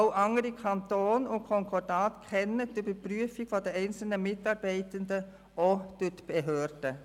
Auch andere Kantone und Konkordate kennen die Überprüfung der einzelnen Mitarbeitenden durch die Behörden.